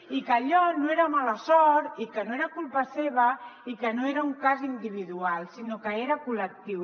i que allò no era mala sort i que no era culpa seva i que no era un cas individual sinó que era col·lectiu